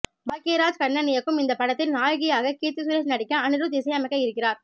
பாக்கியராஜ் கண்ணன் இயக்கும் இந்த படத்தில் நாயகியாக கீர்த்தி சுரேஷ் நடிக்க அனிருத் இசையமைக்க இருக்கிறார்